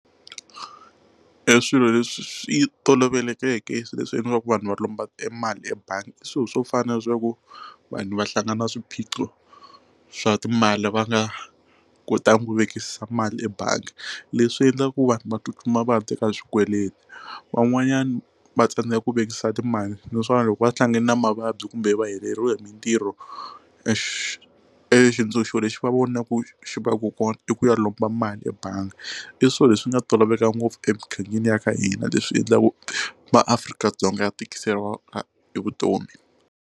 E swilo leswi swi tolovelekeke swilo leswi endlaka ku vanhu va lomba mali ebangi i swilo swo fana leswi ya ku vanhu va hlangana na swiphiqo swa timali va nga ku ta n'wi vekisa mali ebangi leswi endlaka ku vanhu va tsutsuma vaya teka swikweleti van'wanyana va tsandzeka ku vekisa timali naswona loko va hlangane na mavabyi kumbe va heleriwa hi mintirho e xi xitsundzuxo lexi va vona ku xivaka kona i ku ya lomba mali ebangi i swilo leswi nga toloveleka ngopfu emugangeni wa ka hina leswi endlaku ma-Afrika-Dzonga ya tikiseliwa vutomi.